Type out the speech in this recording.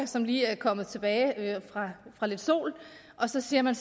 som lige er kommet tilbage fra lidt sol og så siger man